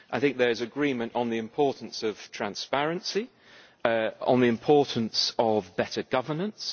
there is agreement on the importance of transparency, and on the importance of better governance